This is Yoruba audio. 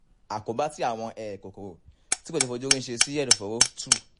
àkóbá tí àwọn um kòkòrò tí kò ṣe é fi ojú rí ṣe sí ẹ̀dọ̀fóró three